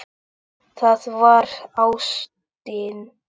Það var ástin.